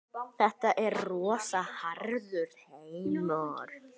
Þetta er rosa harður heimur.